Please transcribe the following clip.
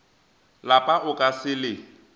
lapa o ka se le